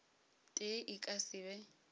tee e ka se be